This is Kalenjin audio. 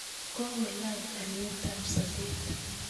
kokolany alietab sobet